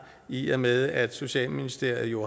i og med at socialministeren jo